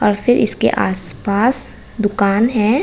और फिर इसके आसपास दुकान है।